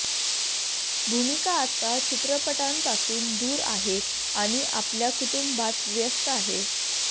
भूमिका आता चित्रपटांपासून दूर आहे आणि आपल्या कुटूंबात व्यस्त आहे